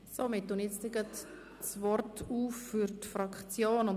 Wir geben jetzt den Fraktionen das Wort.